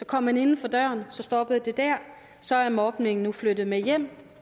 kom inden for døren stoppede det dér så er mobning nu flyttet med hjem